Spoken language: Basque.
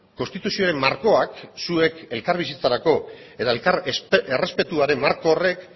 konstituzioaren markoak zuek elkarbizitzarako eta elkar errespetuaren marko horrek